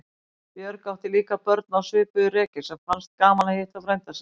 Björg átti líka börn á svipuðu reki sem fannst gaman að hitta frænda sinn.